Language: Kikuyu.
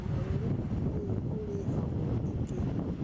ũgarũruku ũyũ urĩhagwo nĩ kĩĩ?